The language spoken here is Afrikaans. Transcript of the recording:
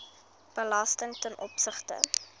belasting ten opsigte